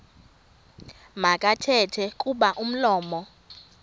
makathethe kuba umlomo